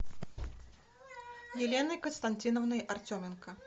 еленой константиновной артеменко